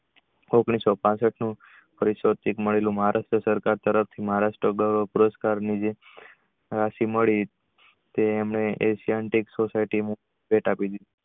ઓગણીસો પાસઠ સરકાર તરફ થી મહારાષ્ટ્ર group એના થી મળી તે એને એંધયન્તિક society આપી.